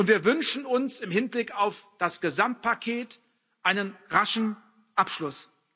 Wir wünschen uns im Hinblick auf das Gesamtpaket einen raschen Abschluss.